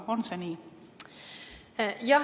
On see nii?